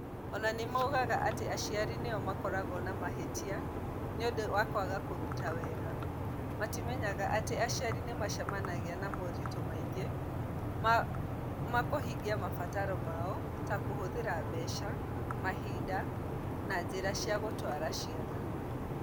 O na nĩ moigaga atĩ aciari nĩo makoragwo na mahĩtia nĩ ũndũ wa kwaga kũruta wega, matimenyaga atĩ aciari nĩ macemanagia na moritũ maingĩ ma kũhingia mabataro mao, ta kũhũthĩra mbeca, mahinda, na njĩra cia gũtwara ciana.